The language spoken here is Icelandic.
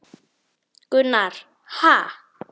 Gunnar: Ha!